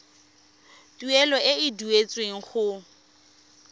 tuelo e e duetsweng go